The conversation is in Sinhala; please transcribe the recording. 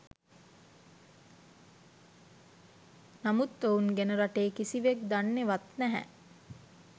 නමුත් ඔවුන් ගැන රටේ කිසිවෙක් දන්නේ වත් නැහැ